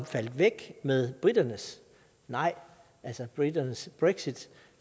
faldt væk med briternes nej altså briternes brexit